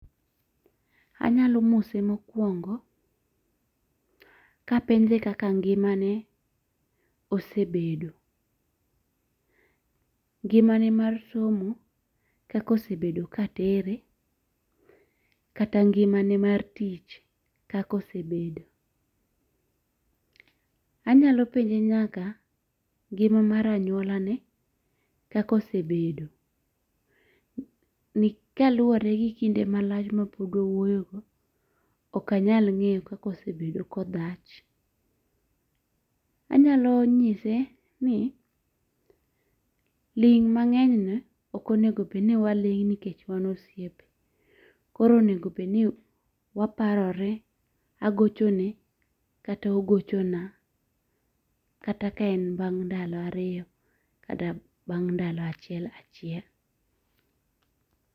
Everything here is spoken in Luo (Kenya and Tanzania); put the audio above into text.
Anyalo mose mokwongo kapenje kaka ngimane osebedo. Ngimane mar somo kaka osebedo ka tere kata ngimane mar tich kaka osebedo. Anyalo penje nyaka ngima mar anyuola ne kaka osebedo kaluwore gi kinde malach ma pok wawuoyo go ok anyal ng'eyo kaka osebedo kodhach. Anyalo nyise ji ling' mang'ny not ok onego bed ni waling' nikech wa osiepe. Koro onego bed ni waparore, agochone kata ogochona kata ka en bang' ndalo ariyo kata bang' ndalo achiel achiel.